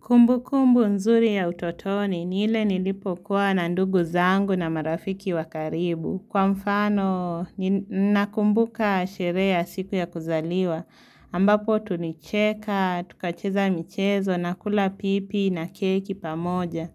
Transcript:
Kumbu kumbu nzuri ya utotoni ni ile nilipo kuwa na ndugu zangu na marafiki wa karibu. Kwa mfano, nina kumbuka sherehe ya siku ya kuzaliwa. Ambapo tulicheka, tukacheza michezo, nakula pipi na keki pamoja.